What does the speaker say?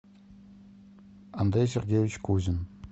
андрей сергеевич кузин